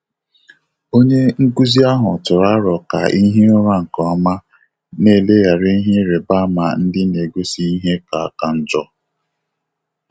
Ọ́nyé nkụ́zí áhụ́ tụ́rụ̀ àrò kà ị́ hìé ụ́rà nké ọ́mà, nà-élèghàrà ìhè ị́rị́bà ámà ndị́ nà-égósí ìhè kà kà njọ́.